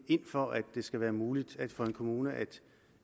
ind for at det skal være muligt for en kommune at